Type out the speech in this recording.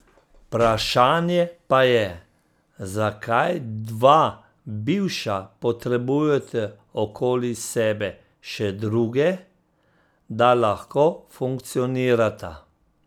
Vprašanje pa je, zakaj dva bivša potrebujeta okoli sebe še druge, da lahko funkcionirata.